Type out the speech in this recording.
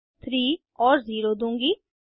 मैं 3 और 0 दूंगी